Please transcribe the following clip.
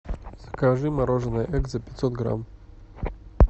закажи мороженое экзо пятьсот грамм